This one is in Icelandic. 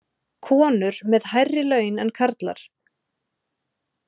Konur með hærri laun en karlar